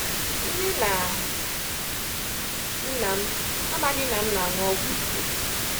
Nne na nna m amaghị na m na-anwụ ọgwụ ike.